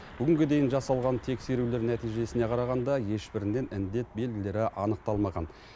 бүгінге дейін жасалған тексерулер нәтижесіне қарағанда ешбірінен індет белгілері анықталмаған